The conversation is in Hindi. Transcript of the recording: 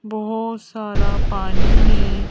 बहुत सारा पानी है।